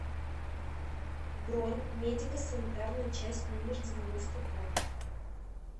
бронь медико санитарная часть номер девяносто два